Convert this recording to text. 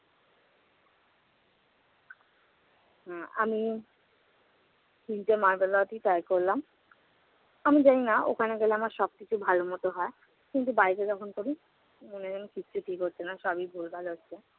আ~ আমি তিনটা try করলাম। আমি জানি না ওখানে গেলে আমার সব কিছু ভালোমত হয়, কিন্তু বাড়িতে যখন করি উম কিচ্ছু ঠিক হচ্ছে না, সবই ভুলভাল হচ্ছে।